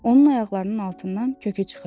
Onun ayaqlarının altından kökü çıxırdı.